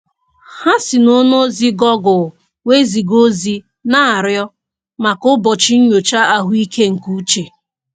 Ha si n'ọwa ozi gọgụl wee ziga ozi na-arịọ maka ụbọchị nnyocha ahụike nke uche